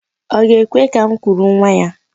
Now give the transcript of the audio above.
Ọ ga-ekwe ka m kuru nwa ya?